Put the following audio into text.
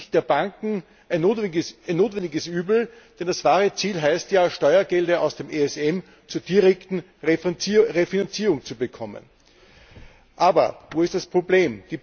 Das ist aus Sicht der Banken ein notwendiges Übel, denn das wahre Ziel heißt ja, Steuergelder aus dem ESM zur direkten Refinanzierung zu bekommen. Aber wo ist das Problem?